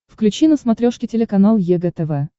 включи на смотрешке телеканал егэ тв